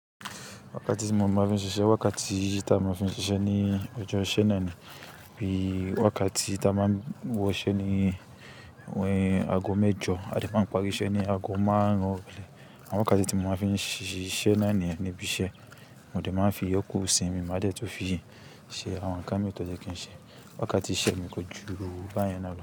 Wákàtí tí mo máa ń fi ṣiṣẹ́, wákàtí tí a máa ń fi ṣiṣẹ́ ní ọjọ́ ìṣe náà ni bí i wákàtí tí a máa wọ iṣẹ́ ní àgọ́ mẹ́jọ a lè máa ń parí iṣẹ́ ní àgọ́ márùn-ún. Àwọn wákàtí tí mo máa ń fi ṣiṣẹ́ náà ni ẹni bí i ṣe mo lè máa ń fi yọọ́kọ̀ sí mi, má jẹ́ tó fi ṣe àwọn ńká mi tó jẹ́ kí n ṣe. Wákàtí iṣẹ́ mi kọjú báyẹn náà ló.